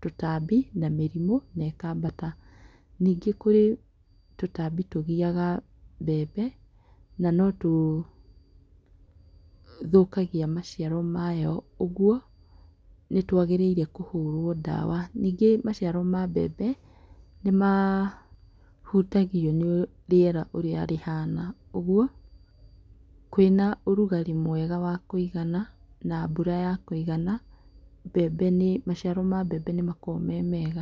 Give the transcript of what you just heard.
tũtambi na mĩrimũ na ĩkambata ningĩ kũrĩ tũtambi tũgiaga mbembe na no tũthũkagia maciaro mayo koguo nĩtwagĩrĩirwo nĩ kũhũrwo ndawa, ningĩ maciaro ma mbembe nĩmahũtagio nĩ rĩera ũrĩa rĩhana ũguo kwĩna ũrugarĩ mwega wa kũigana na mbura ya kũigana mbembe maciaro ma mbembe nĩmakoragwo me mega.